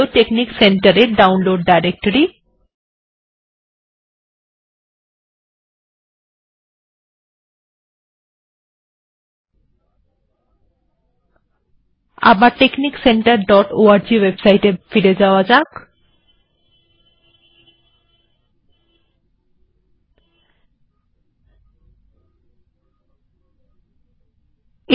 technic centre এর website এ এখানে ডাউনলোড ডিরেক্টরি আছে